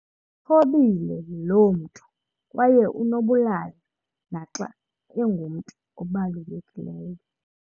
Uthobile loo mntu kwaye unobulali naxa engumntu obalulekileyo.